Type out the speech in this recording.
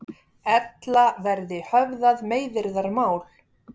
Ella verði höfðað meiðyrðamál